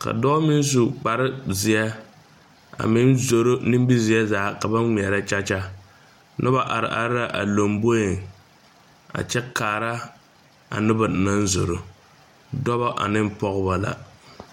ka dɔɔ meŋ su kpare zeɛa meŋ zoro nimizeɛ zaa ka ba ngmɛɛrɛ kyakya nobɔ are are la a lomboeŋ lomboeŋ a kyɛ kaara a nobɔ naŋ zoro dɔbɔ aneŋ pɔgbɔ la.